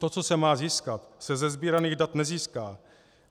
To, co se má získat, se ze sbíraných dat nezíská.